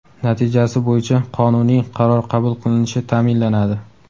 natijasi bo‘yicha qonuniy qaror qabul qilinishi ta’minlanadi.